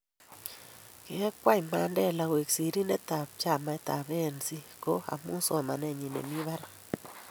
keekwei Mandela koek sirindetab chamaitab A.N.C ko omu somanenyin nemi barak